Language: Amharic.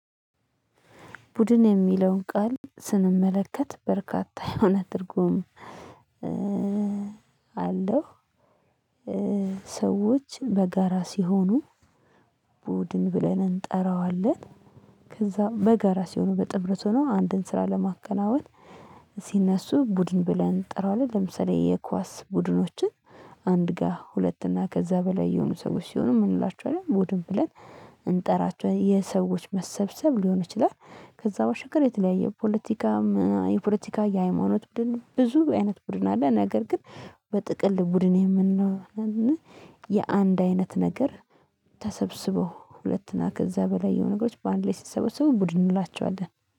ቡድን የሚለውን ቃል ስንመለከት በርካታ የሆነ ትርጉም አለው። ሰዎች በጋራ ሲሆኑ ቡድን ብለን እንጠራዋለን። ከዛ በጋራ ሲሆኑ በጥምረት ሆኖ አንድን ስራ ለማከናወን ሲነሱ ቡድን ብለን እንጠራዋለን። ለምሳሌ የኳስ ቡድኖችን አንድ ጋ ሁለት እና ከዛ በላይ የሆኑ ሰዎች ሲሆኑ ምን እንላቸዋለንል ቡድን ብለን? እንጠራቸው የሰዎች መሰብሰብ ሊሆን ይችላል። ከዛ በሻገር የተለያየ ፖለቲካም የፖለቲካ የሃይማኖት ቡድን ብዙ አይነት ቡድን አለ። ነገር ግን በጥቅል ቡድን የምንለው እና የአንድ አይነት ነገር ተሰብስበው ሁለት ና ከዛ በላይ የሆኑ ነገሮች በአንድ ላይ ሲሰበሰቡ ቡድን እንላቸዋለን።